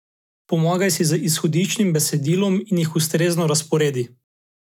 Pomagaj si z izhodiščnim besedilom in jih ustrezno razporedi.